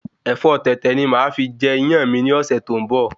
Ẹ̀fọ́ Tètè ni máà fi jẹ Iyán mi ni ọ̀sẹ̀ tó ń bo